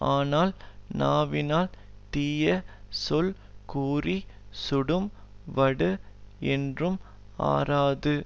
ஆனால் நாவினால் தீய சொல் கூறிச் சுடும் வடு என்றும் ஆறாது